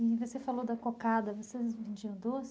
E você falou da cocada, vocês vendiam doces?